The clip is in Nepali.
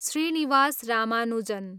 श्रीनिवास रामानुजन